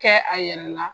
Kɛ a yɛrɛ la